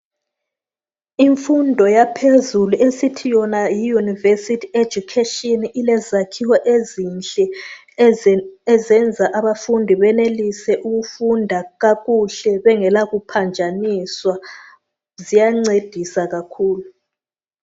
Imfundo yaphezelu esithi yona yi"University Education" ilezakhiwo ezinhle ezenza abafundi benelise ukufunda kakuhle bengela kuphanjaniswa. Ziyancedisa kakhulu.